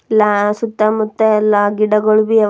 ಲಾ ಸುತ್ತ ಮುತ್ತ ಗಿಡಗೋಳಬಿ ಅವ ಲಾ--